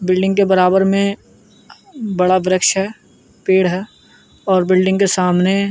building के बराबर मे बड़ा वृक्ष है पेड़ है ओर बिल्डिंग के सामने --